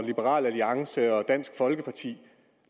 liberal alliance og dansk folkeparti